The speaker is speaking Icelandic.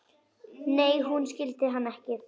Nei, hún skildi hann ekki.